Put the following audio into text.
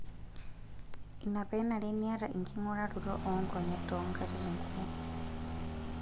Ina pee enare niayata enkinguraroto oonkonyek toonkankatitin kumok.